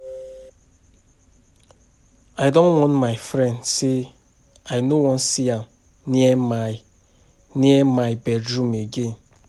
I don warn my friend say I no wan see am near my near my bedroom again